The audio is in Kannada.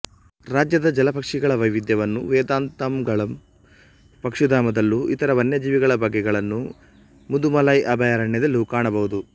ರಾಜ್ಯದ ಜಲಪಕ್ಷಿಗಳ ವೈವಿಧ್ಯವನ್ನು ವೇದಾಂತಂಗಳ್ ಪಕ್ಷಿಧಾಮದಲ್ಲೂ ಇತರ ವನ್ಯ ಜೀವಿಗಳ ಬಗೆಗಳನ್ನು ಮುದು ಮಲೈ ಅಭಯಾರಣ್ಯದಲ್ಲೂ ಕಾಣಬಹುದು